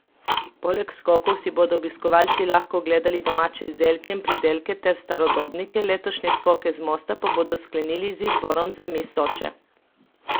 Poleg skokov si bodo obiskovalci lahko ogledali domače izdelke in pridelke ter starodobnike, letošnje Skoke z mosta pa bodo sklenili z izborom za miss Soče.